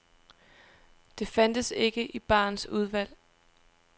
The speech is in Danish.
Det fandtes ikke i barens udvalg.